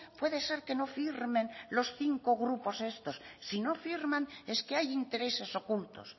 puede ser que no firmen los cinco grupos estos si no firman es que hay intereses ocultos